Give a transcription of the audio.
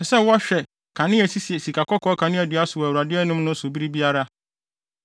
Ɛsɛ sɛ wɔhwɛ akanea a esisi sikakɔkɔɔ kaneadua so wɔ Awurade anim no so bere biara.